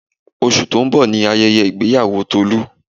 Oṣù tó ń bọ̀ ni ayẹyẹ ìgbéyàwó Tolu